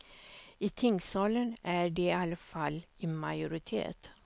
I tingssalen är de i alla fall i majoritet.